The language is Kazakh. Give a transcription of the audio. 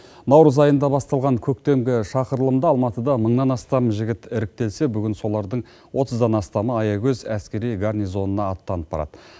наурыз айында басталған көктемгі шақырылымда алматыда мыңнан астам жігіт іріктелсе бүгін солардың отыздан астамы аягөз әскери гарнизонына аттанып барады